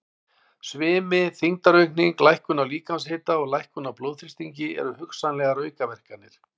Svimi, þyngdaraukning, lækkun á líkamshita og lækkun á blóðþrýstingi eru hugsanlegar aukaverkanir.